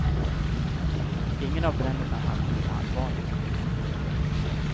Ingen av bränderna hann bli allvarliga.